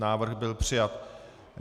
Návrh byl přijat.